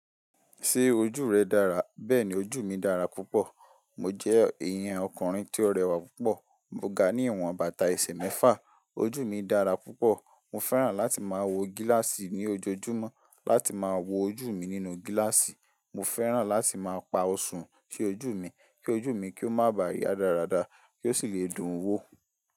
Ṣé ojú rẹ dára? Bẹ́ẹ̀ni ojú mi dára púpọ̀. Mo jẹ́ èèyàn ọkùnrin tí ó rẹwà púpọ̀. Mo ga ní ìwọ̀n bàtà ẹsẹ̀ mẹ́fà. Ojú mi dára púpọ̀. Mo fẹ́ràn láti máa wọ gíláàsì ní ojoojúmọ́ láti máa wo ojú mi nínú gíláàsì. Mo fẹ́ràn láti máa pa Ọsun sí ojú mi kí ojú mi kí ó má ba à yá dáradára kí ó sì lè dùn wò.